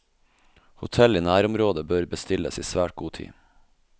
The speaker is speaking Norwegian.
Hotell i nærområdet bør bestilles i svært god tid.